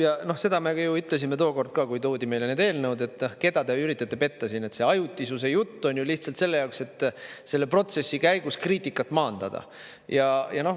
Ja no seda me ju ütlesime tookord ka, kui toodi meile need eelnõud, et keda te üritate petta siin, see ajutisuse jutt on ju lihtsalt selle jaoks, et selle protsessi käigus kriitikat maandada.